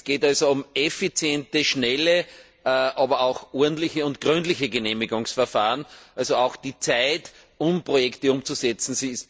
Es geht also um effiziente, schnelle, aber auch ordentliche und gründliche Genehmigungsverfahren, also auch um die Zeit, Projekte umzusetzen.